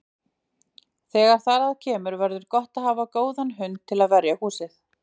Þegar þar að kemur verður gott að hafa góðan hund til að verja húsið.